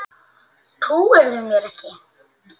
Trúirðu mér ekki?